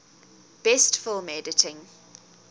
best film editing